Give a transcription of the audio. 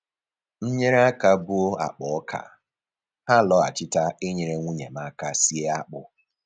M nyere aka buo akpa ọka, ha lọghachita inyere nwunye m aka sie akpụ